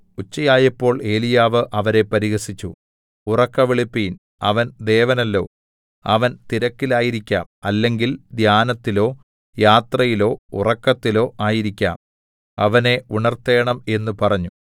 ഉച്ചയായപ്പോൾ ഏലീയാവ് അവരെ പരിഹസിച്ചു ഉറക്കെ വിളിപ്പിൻ അവൻ ദേവനല്ലോ അവൻ തിരക്കിലായിരിക്കാം അല്ലെങ്കിൽ ധ്യാനത്തിലോ യാത്രയിലോ ഉറക്കത്തിലോ ആയിരിക്കാം അവനെ ഉണർത്തേണം എന്ന് പറഞ്ഞു